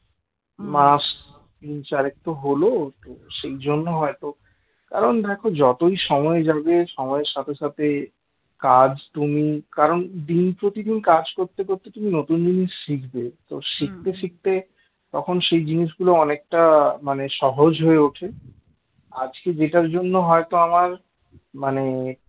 কাজ তুমি কারণ দিন প্রতিদিন কাজ করতে করতে তুমি নতুন জিনিস শিখবে তো শিখতে শিখতে তখন সেই জিনিসগুলো অনেকটা মানে সহজ হয়ে ওঠে আজকে যেটার জন্য হয়তো আমার মানে